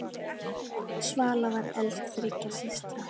Svala var elst þriggja systra.